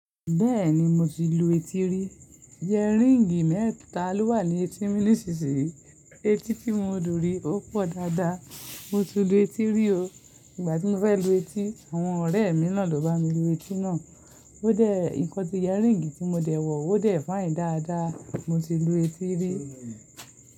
Bẹ́ẹ̀ni mo ti lu etí rí, yẹríǹgì mẹ́ta ló wà ní etí mi nísìnyí. Etí tí mo n lù rí ó pọ̀ dáadáa. Mo ti lu etí rí o. Ìgbà tí mo fẹ́ lu etí, àwọn ọ̀rẹ́ mi náà ló bá mi lu etí náà. Ó dẹ̀, nǹkan tí yẹríǹgì tí mo dẹ̀ wọ̀ ó dẹ̀ fine dáadáa. Mo ti lu etí rí.